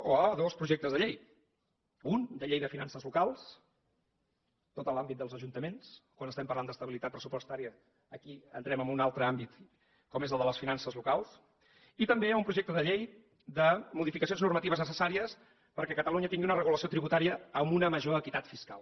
o a dos projectes de llei un de llei de finances locals tot l’àmbit dels ajuntaments quan estem parlant d’estabilitat pressupostària aquí entrem en un altre àmbit com és el de les finances locals i també un projecte de llei de modificacions normatives necessàries perquè catalunya tingui una regulació tributària amb una major equitat fiscal